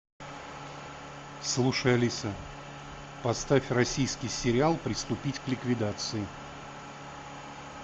слушай алиса поставь российский сериал приступить к ликвидации